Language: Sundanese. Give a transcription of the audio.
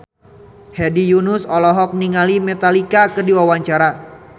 Hedi Yunus olohok ningali Metallica keur diwawancara